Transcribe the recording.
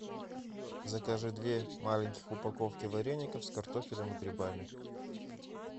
закажи две маленьких упаковки вареников с картофелем и грибами